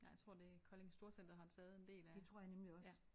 Nej jeg tror det er Kolding Storcenter har taget en del af ja